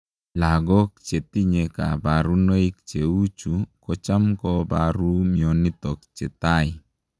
lagook chetinyee kabarunoik cheuu chuu kocham koparuu mionotok chetai